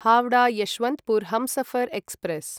Howrah Yesvantpur Humsafar express